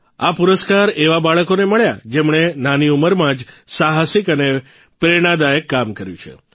આ પુરસ્કાર એવા બાળકોને મળ્યા જેમણે નાની ઉંમરમાં જ સાહસિક અને પ્રેરણાદાયક કામ કર્યું છે